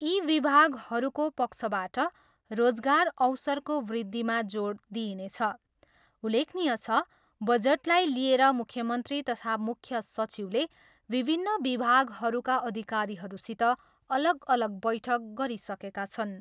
यी विभागहरूको पक्षबाट रोजगार अवसरको वृद्धिमा जोड दिइनेछ। उल्लेखनीय छ, बजेटलाई लिएर मुख्यमन्त्री तथा मुख्य सचिवले विभिन्न विभागहरूका अधिकारीहरूसित अलग अलग बैठक गरिसकेका छन्।